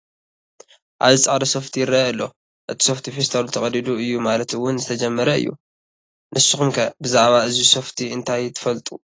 ኣብዚ ፃዕዳ ሶፍቲ ይረአ ኣሎ፡፡ እቲ ሶፍቲ ፌስታሉ ተቐዲዱ እዩ ማለት እውን ዝተጀመረ እዩ፡፡ ንስኹም ከ ብዛዕባ እዚ ሶፍቲ እንታይ ትፈልጡ?